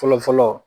Fɔlɔ fɔlɔ